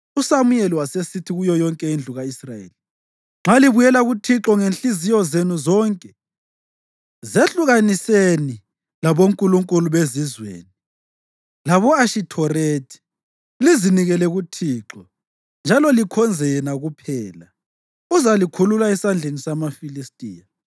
USamuyeli wasesithi kuyo yonke indlu ka-Israyeli, “Nxa libuyela kuThixo ngezinhliziyo zenu zonke zehlukaniseni labonkulunkulu bezizweni labo-Ashithorethi lizinikele kuThixo njalo likhonze yena kuphela, uzalikhulula esandleni samaFilistiya.”